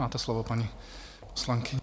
Máte slovo, paní poslankyně.